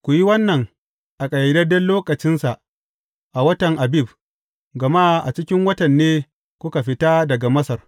Ku yi wannan a ƙayyadadden lokacinsa a watan Abib, gama a cikin watan ne kuka fita daga Masar.